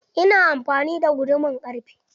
Ina amfani da guduman ƙarfe.